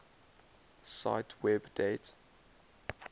cite web date